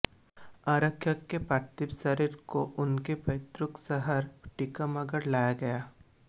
आरक्षक के पार्थिव शरीर को उनके पैतिृक शहर टीकमगढ लाया गया